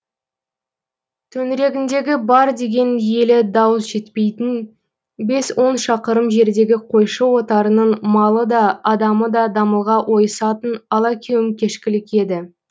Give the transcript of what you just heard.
төңірегіндегі бар деген елі дауыс жетпейтін бес он шақырым жердегі қойшы отарының малы да адамы да дамылға ойысатын алакеуім кешкілік еді